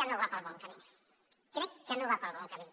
que no va pel bon camí crec que no va pel bon camí